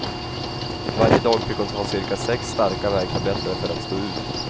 Varje dag fick hon ta cirka sex starka värktabletter för att stå ut.